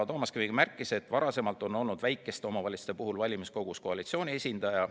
Toomas Kivimägi märkis, et varasemalt on olnud väikeste omavalitsuste puhul valimiskogus koalitsiooni esindaja.